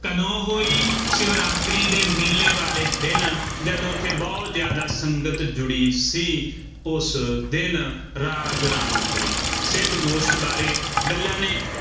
ਕਦੋਂ ਹੋਈ, ਸ਼ਿਵਰਾਤਰੀ ਦੇ ਮੇਲੇ ਵਾਲੇ ਦਿਨ, ਜਦੋਂ ਉੱਥੇ ਬਹੁਤ ਜ਼ਿਆਦਾ ਸੰਗਤ ਜੁੜੀ ਸੀ, ਉਸ ਦਿਨ ਰਾਗ ਰਾਮ ਕਲੀ ਸਿੱਧ ਗੋਸ਼ਟ ਬਾਰੇ ਗੱਲਾਂ ਨੇ